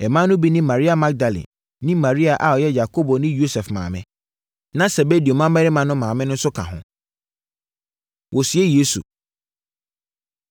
Mmaa no bi ne Maria Magdalene ne Maria a ɔyɛ Yakobo ne Yosef maame. Na Sebedeo mmammarima no maame nso ka ho. Wɔsie Yesu